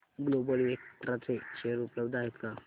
global Vectra चे share उपलब्ध आहेत का